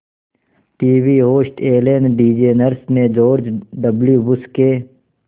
TV host Ellen DeGeneres ने George W Bush के